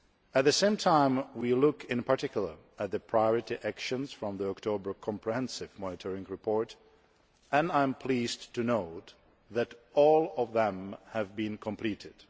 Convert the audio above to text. At the same time we are looking in particular at the priority actions from the October comprehensive monitoring report, and I am pleased to note that all of them have been completed.